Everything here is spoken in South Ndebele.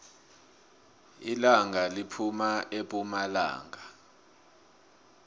ilanga liphuma epumalanga